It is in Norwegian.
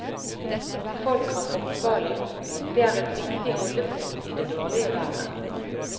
Folk har fotballen, det er et viktig holdepunkt i det dårlige været.